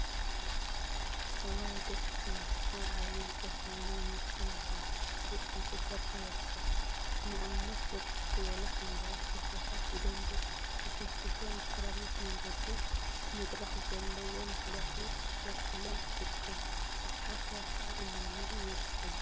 እዋይ ደስ ክብል! አብ ዓብይ ከተማ ናይ መስኖ ልምዓት ብፍሉይ እናተሰርሐ ይርከብ፡፡ ንአብነት ብርክት ዝበሉ ሓምለዎት ተክሊታት ብደምቢ ተኮስዂሶም ብሰራሚክ መንገዲ/መድረክ ዘለዎ መሕለፊ ተሰሪሒሎም ይርከቡ፡፡ ቡዙሓት ሰባት ከዓ እናልምዑ ይርከቡ፡፡